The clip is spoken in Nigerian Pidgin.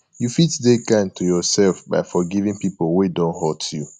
you fit de kind to yourself by forgiving pipo wey don hurt you